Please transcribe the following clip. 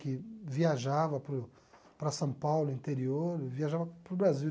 Que viajava para o para São Paulo, interior, viajava para o Brasil.